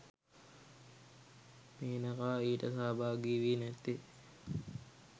මේනකා ඊට සහභාගිවී නැත්තේ